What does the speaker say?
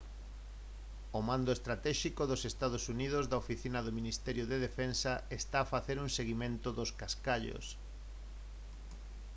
o mando estratéxico dos ee uu da oficina do ministerio de defensa está a facer un seguimento dos cascallos